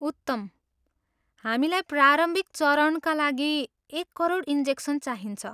उत्तम। हामीलाई प्रारम्भिक चरणका लागि एक करोड इन्जेक्सन चाहिन्छ।